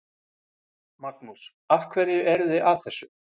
Magnús: Af hverju eruð þið að þessu?